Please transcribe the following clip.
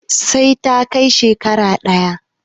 Sai ta kai shekara ƙaya